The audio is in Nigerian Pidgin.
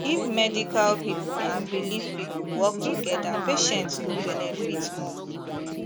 if medical people and belief people work together patients go benefit more